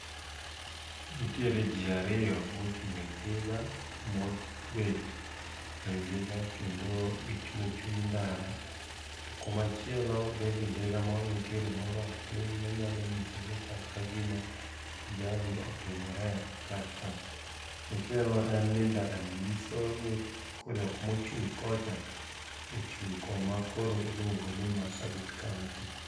Nitiere jii ariyo mochung ei ndiga, mobet ewi ndiga kendo gichung e chuny ndara to komachielo bende ndiga moro nitiere molwar piny manyalo nyisoni chal kagima ajali otimore kar ka. Machielo en ni ndarani nyisoni jokma ochung kocha ochung koma koro iluongo ni Marsabit kaunti